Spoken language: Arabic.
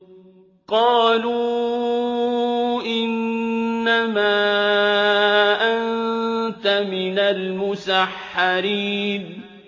قَالُوا إِنَّمَا أَنتَ مِنَ الْمُسَحَّرِينَ